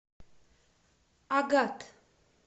агат